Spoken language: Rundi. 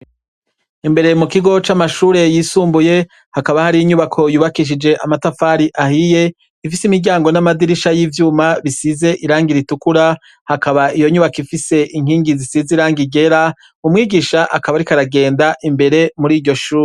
Imbere mu kigo c'amashure yisumbuye hakaba hari inyubako yubakishije amatafari ahiye, ifise imiryango n'amadirisha y'ivyuma bisize irangi ritukura, hakaba iyo nyubako ifise inkingi zisize irangi ryera, umwigisha akaba ariko aragenda imbere mur'iryo shure.